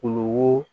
Kulo wo